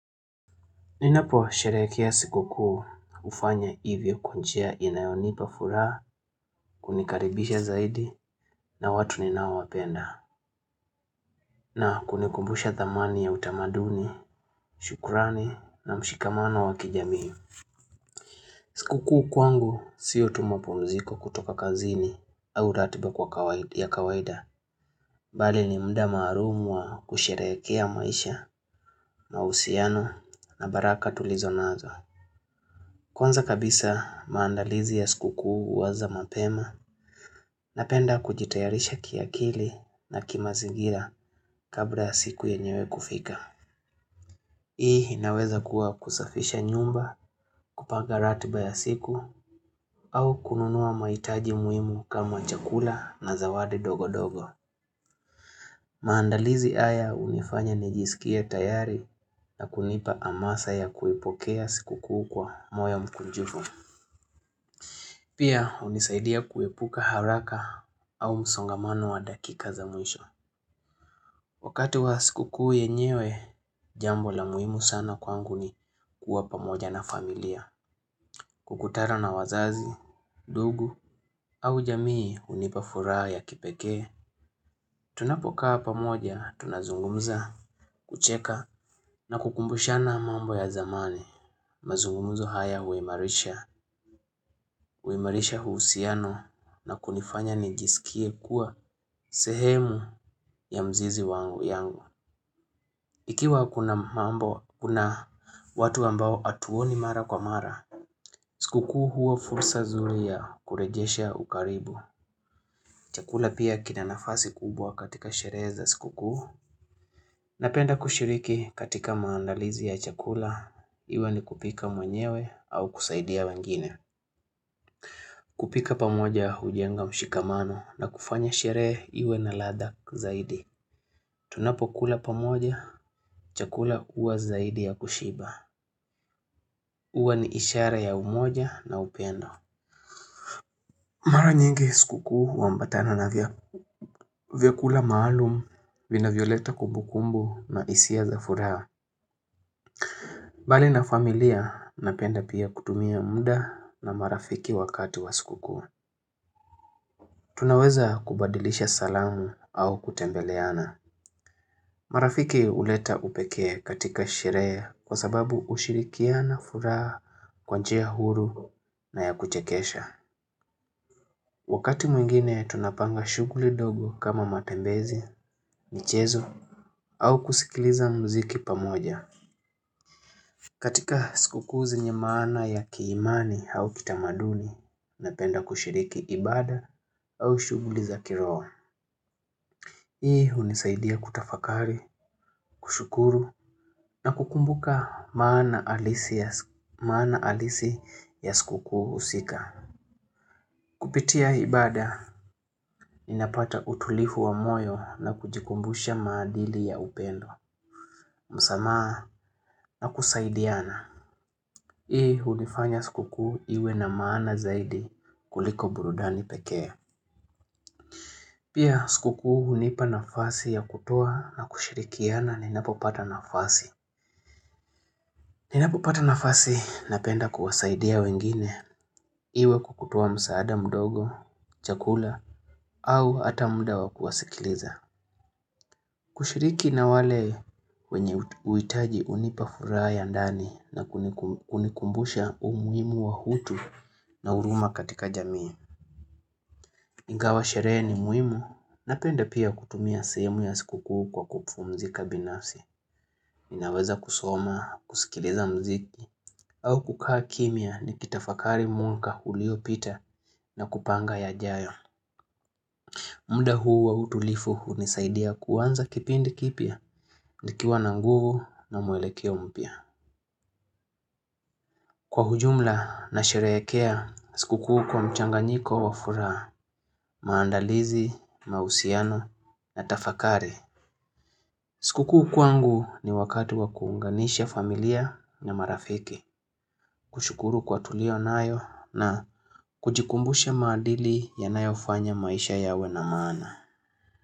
Ninaposherehekea sikuku hufanya hivyo kwa njia inayonipa furaha kunikaribisha zaidi na watu ninaowapenda na kunikumbusha thamani ya utamaduni, shukrani na mshikamano wa kijamii. Sikuku kwangu si tu mapumziko kutoka kazini au ratiba kwa kawaida. Bali ni mda maarufu wa kusherehekea maisha na uhusiano na baraka tulizo nazo. Kwanza kabisa maandalizi ya sikukuu huanza mapema napenda kujitayarisha kiakili na ki mazingira kabla siku yenyewe kufika. Hii inaweza kuwa kusafisha nyumba kupanga ratiba ya siku au kununua mahitaji muimu kama chakula na zawadi dogo dogo. Maandalizi haya hunifanya nijisikie tayari na kunipa hamasa ya kuipokea sikukuu kwa moyo mkunjufu. Pia hunisaidia kuepuka haraka au msongamano wa dakika za mwisho. Wakati wa sikukuuy yenyewe, jambo la muhimu sana kwangu ni kuwa pamoja na familia. Kukutana na wazazi, ndugu au jamii hunipa furaha ya kipekee. Tunapokaa pamoja, tunazungumza, kucheka na kukumbushana mambo ya zamani. Mazungumzo haya huimarisha uhusiano na kunifanya nijisikie kuwa sehemu ya mzizi wangu yangu. Ikiwa kuna mambo, kuna watu ambao hatuoni mara kwa mara, sikukuu huwa fursa nzuri ya kurejesha ukaribu. Chakula pia kina nafasi kubwa katika sherehe za sikukuu. Napenda kushiriki katika maandalizi ya chakula, iwe ni kupika mwenyewe au kusaidia wengine. Kupika pamoja hujenga mshikamano na kufanya sherehe iwe na ladha zaidi. Tunapokula pamoja chakula huwa zaidi ya kushiba. Huwa ni ishara ya umoja na upendo. Mara nyingi sikukuu huambatana na vyakula maalum vinavyoleta kumbukumbu na hisia za furaha. Mbali na familia napenda pia kutumia muda na marafiki wakati wa sikukuu. Tunaweza kubadilisha salamu au kutembeleana. Marafiki huleta upekee katika sherehe kwa sababu ushirikiano na furaha huwa njia huru na ya kuchekesha. Wakati mwingine tunapanga shughuli ndogo kama matembezi, michezo au kusikiliza mziki pamoja. Katika sikukuu zenye maana ya kiimani au kitamaduni napenda kushiriki ibada au shughuli za kiroho. Hii hunisaidia kutafakari, kushukuru na kukumbuka maana halisi ya sikukuu husika. Kupitia ibada, ninapata utulivu wa moyo na kujikumbusha maadili ya upendo. Msamaha na kusaidiana. Hii huifanya sikukuu iwe na maana zaidi kuliko burudani pekee pia sikukuu hunipa nafasi ya kukuwa na kushirikiana ninapopata nafasi. Ninapopata nafasi, napenda kuwasaidia wengine, iwe kutoa msaada mdogo, chakula, au ata mda wa kuwasikiliza. Hushiriki na wale wenye huitaji kunipa furaha ya ndani na kunikumbisha umuhimu wa utu na na huruma katika jamii ingawa sherehe ni muhimu, napenda pia kutumia sehemu ya sikukuu kwa kupumzika binafsi. Ninaweza kusoma, kusikiliza mziki au kukaa kimya nikitafakari mwaka ulio pita na kupanga yajayo. Muda huu wa utulivu hunisaidia kuanza kipindi kipya. Nikiwa na nguvu na mwelekeo mpya. Kwa ujumla nasherehekea, sikukuu kwa mchanganyiko wa furaha, vMaandalizi, mahusiano na tafakari. Siku kuu kwangu ni wakati wa kuunganisha familia na marafiki. Kushukuru kwa tulio nayo na kujikumbusha maadili yanayofanya maisha yawe na maana.